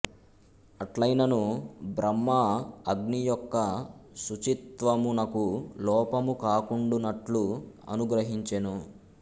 అట్లైనను బ్రహ్మ అగ్ని యొక్క శుచిత్వమునకు లోపము కాకుండునట్లు అనుగ్రహించెను